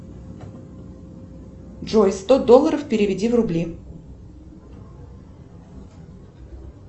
джой сто долларов переведи в рубли